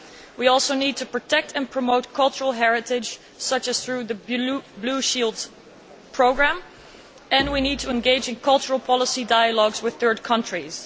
We also need to protect and promote cultural heritage, such as through the Blue Shield programme, and we need to engage in cultural policy dialogues with third countries.